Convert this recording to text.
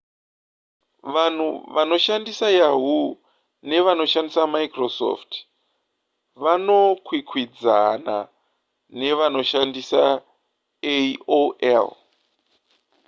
vanhu vanoshandisa yahoo nevanoshandisa microsoft vanokwikwidzaana nevanoshandisa aol